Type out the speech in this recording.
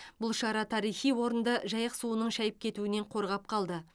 бұл шара тарихи орынды жайық суының шайып кетуінен қорғап қалды